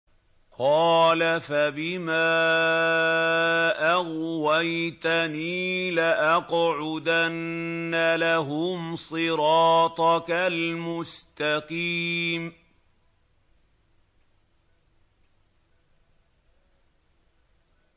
قَالَ فَبِمَا أَغْوَيْتَنِي لَأَقْعُدَنَّ لَهُمْ صِرَاطَكَ الْمُسْتَقِيمَ